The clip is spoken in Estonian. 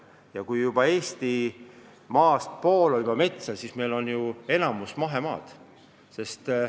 Ja kui pool Eestimaast on metsad, siis meil on ju enamik maast mahemaa!